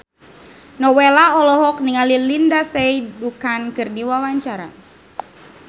Nowela olohok ningali Lindsay Ducan keur diwawancara